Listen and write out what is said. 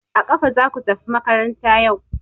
A kafa zaku tafi makaranta yau!